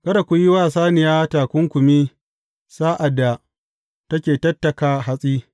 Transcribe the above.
Kada ku yi wa saniya takunkumi sa’ad da take tattaka hatsi.